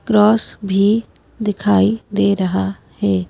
Cross भी दिखाई दे रहा है।